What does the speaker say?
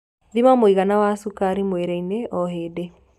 Thima muigana wa cukari mwĩrĩ-ini o hĩndĩ